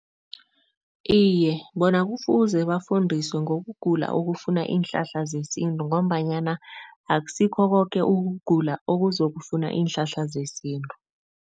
Iye, bona kufuze bafundiswe ngokugula okufuna iinhlahla zesintu ngombanyana akusikho koke ukugula okuzokufuna iinhlahla zesintu.